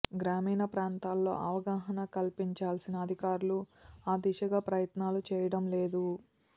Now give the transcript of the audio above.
గ్రామీణ ప్రాంతాల్లో అవగాహన కల్పించాల్సిన అధికారులు ఆ దిశగా ప్రయత్నాలు చేయడంలేదు